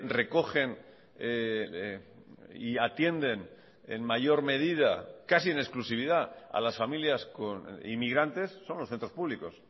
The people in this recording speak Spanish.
recogen y atienden en mayor medida casi en exclusividad a las familias con inmigrantes son los centros públicos